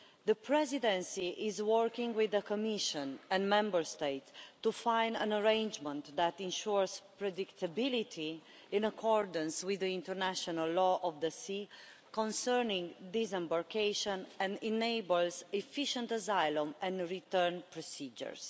The Presidency is working with the Commission and Member States to find an arrangement that ensures predictability, in accordance with the international law of the sea concerning disembarkation, and enables efficient asylum and return procedures.